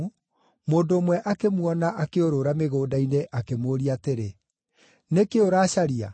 mũndũ ũmwe akĩmuona akĩũrũũra mĩgũnda-inĩ, akĩmũũria atĩrĩ, “Nĩ kĩĩ ũracaria?”